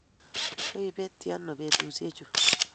Koipetchi ano petusyek chu?